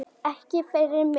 Ekki fyrir mig